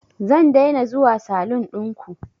Zan daina zuwa salun ɗinku